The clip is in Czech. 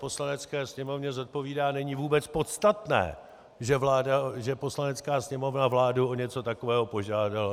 Poslanecké sněmovně zodpovídá, není vůbec podstatné, že Poslanecká sněmovna vládu o něco takového požádala.